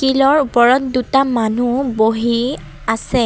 শিলৰ ওপৰত দুটা মানুহ বহি আছে।